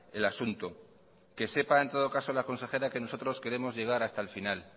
el asunto que sepa en todo caso la consejera que nosotros queremos llegar hasta el final